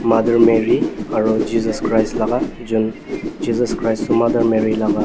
mother mary aro jesus christ laga jun jesus christ toh mother mary laga--